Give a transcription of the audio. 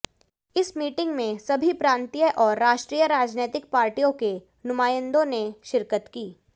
इस मीटिंग में सभी प्रांतीय और राष्ट्रीय राजनैतिक पार्टियों के नुमायंदों ने शिरकत की